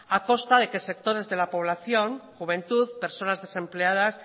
a costa de que sectores de la población juventud personas desempleadas